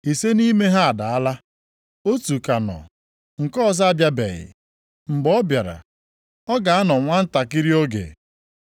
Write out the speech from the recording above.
Ise nʼime ha adaala, otu ka nọ, nke ọzọ abịabeghị. Mgbe ọ bịara, ọ ga-anọ nwantakịrị oge.